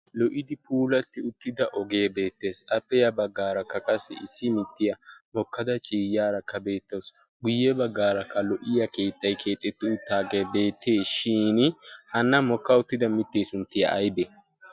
lo'idi puulatti uttida ogee beettees. appe ya baggaarakka wassi issi miittiyaa mokkada ciyyaarakka beettawus. guyye baggaakka lo'iyaa keettay keexxeti uttaagee beetteeshin hanna mokka uttida mittee sunttay aybee?